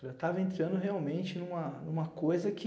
Eu estava entrando realmente em uma, em uma coisa que...